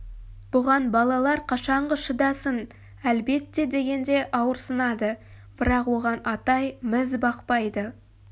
бұған балалар қашанғы шыдасын әлбетте дегенде ауырсынады бірақ оған атай міз бақпайды